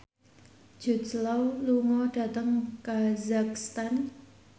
Jude Law lunga dhateng kazakhstan